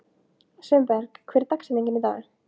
Sveinberg, hver er dagsetningin í dag?